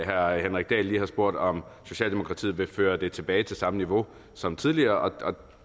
herre henrik dahl lige har spurgt om socialdemokratiet vil føre det tilbage til samme niveau som tidligere